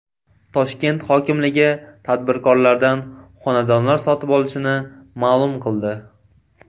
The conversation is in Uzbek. Toshkent hokimligi tadbirkorlardan xonadonlar sotib olishini ma’lum qildi.